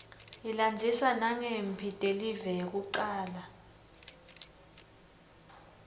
ilandzisa nangemphi telive yekucala